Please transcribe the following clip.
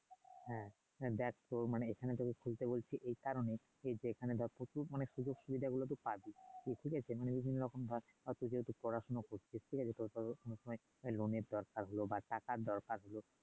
হ্যাঁ দেখ তোর মানে এখানে যদি তুই সুযোগ সুবিধা গুলো পাস ঠিক আছে